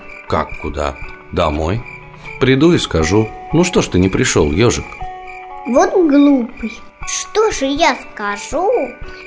как куда домой приду и скажу ну что ж ты не пришёл ёжик вот глупый что же я скажу